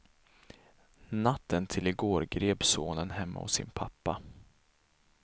Natten till i går greps sonen hemma hos sin pappa.